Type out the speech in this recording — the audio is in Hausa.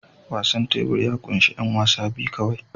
Wasan tebur ya ƙunshi 'yan wasa biyu kawai